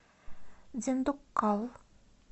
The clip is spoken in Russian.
диндуккал